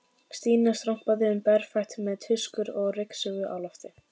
Stína stormaði um berfætt með tuskur og ryksugu á lofti.